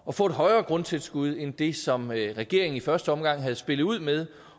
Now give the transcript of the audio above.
at få et højere grundtilskud end det som regeringen i første omgang havde spillet ud med